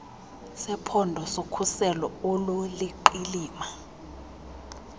sephondo sokhuselo oluliqilima